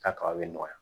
Ka kaba bɛ nɔgɔya